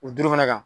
O duuru fana kan